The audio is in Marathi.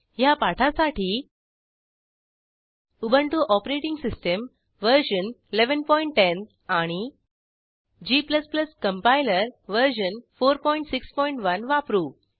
ह्या पाठासाठी उबंटु ओएस वर्जन 1110 आणि g कंपाइलर वर्जन 461 वापरू